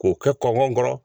K'o kɛ kɔnkɔ kɔrɔ.